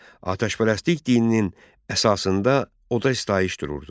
Atəşpərəstlik dininin əsasında oda sitayiş dururdu.